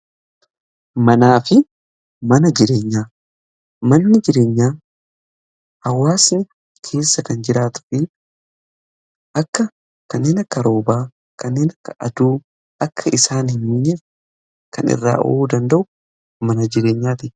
Manaa fi mana jireenya manni jireenyaa hawaasni keessa kan jiraatu fi akka kanneen karoobaa kanneen akka aduu akka isaan hin miineef kan irraa eeguu danda'u mana jireenyaati.